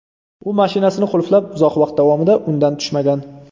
U mashinasini qulflab, uzoq vaqt davomida undan tushmagan.